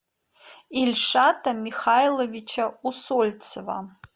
ильшата михайловича усольцева